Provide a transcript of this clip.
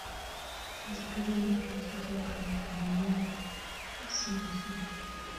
закажи мне пожалуйста килограмм пельменей с мясом